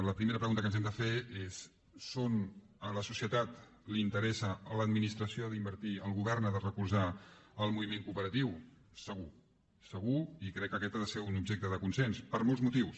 la primera pregunta que ens hem de fer és a la societat l’interessa l’administració ha d’invertir el govern ha de recolzar el moviment cooperatiu segur segur i crec que aquest ha de ser un objecte de consens per molts motius